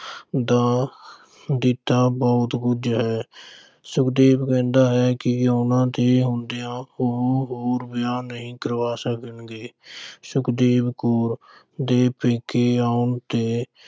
ਦਾ ਦਿੱਤਾ ਬਹੁਤ ਕੁਝ ਹੈ। ਸੁਖਦੇਵ ਕਹਿੰਦਾ ਹੈ ਕਿ ਉਨ੍ਹਾਂ ਦੇ ਹੁੰਦਿਆਂ ਉਹ ਹੋਰ ਵਿਆਹ ਨਹੀਂ ਕਰਵਾ ਸਕਣਗੇ। ਸੁਖਦੇਵ ਕੌਰ ਦੇ ਪੇਕੇ ਆਉਣ ਤੇ